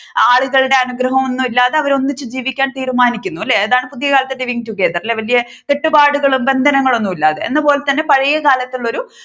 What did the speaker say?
ആളുകളുടെ അനുഗ്രഹം ഒന്നുമില്ലാതെ അവർ ഒന്നിച്ചു ജീവിക്കാൻ തീരുമാനിക്കുന്നു അല്ലേ അതാണ് പുതിയ കാലത്തെ living together ല്ലേ വലിയ കെട്ടുപാടുകളും ബന്ധനങ്ങളും ഒന്നുമില്ലതെ എന്നപോലെതന്നെ പഴയകാലത്ത് ഉള്ള ഒരു